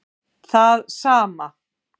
Það sama